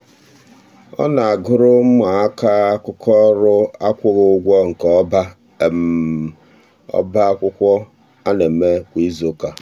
ọ na-agụrụ ụmụaka akụkọ ọrụ akwụghị ụgwọ nke ọba ọba akwụkwọ a na-eme kwa izuụka.